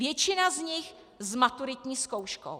Většina z nich s maturitní zkouškou.